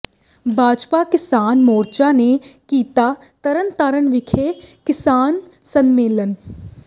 ਭਾਜਪਾ ਕਿਸਾਨ ਮੋਰਚਾ ਨੇ ਕੀਤਾ ਤਰਨ ਤਾਰਨ ਵਿਖੇ ਕਿਸਾਨ ਸੰਮੇਲਨ